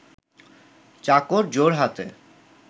চাকর জোড়হাতে